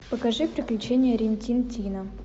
покажи приключения рин тин тина